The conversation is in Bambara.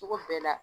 Cogo bɛɛ la